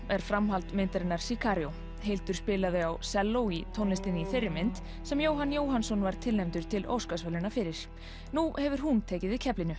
er framhald myndarinnar Hildur spilaði á selló í tónlistinni í þeirri mynd sem Jóhann Jóhannsson var tilnefndur til Óskarsverðlauna fyrir nú hefur hún tekið við keflinu